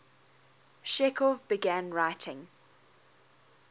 chekhov began writing